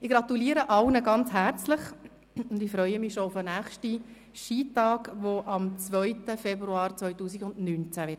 Ich gratuliere allen sehr herzlich und freue mich schon auf den nächsten Skitag, der am 2. Februar 2019 stattfinden wird.